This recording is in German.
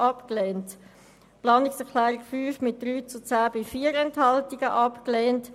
Die Planungserklärung 5 wurde mit 3 Ja- gegen 10 Nein-Stimmen bei 4 Enthaltungen abgelehnt.